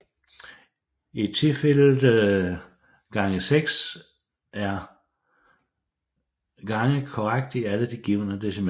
I tilfældet x6 er x korrekt i alle de givne decimaler